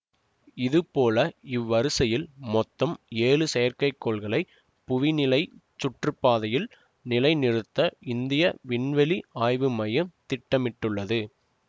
இதுபோல் இவ்வரிசையில் மொத்தம் ஏழு செயற்கைக்கோள்களை புவிநிலைச் சுற்றுப்பாதையில் நிலை நிறுத்த இந்திய விண்வெளி ஆய்வு மையம் திட்டமிட்டுள்ளது